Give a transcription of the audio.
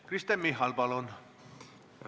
Kristen Michal, palun!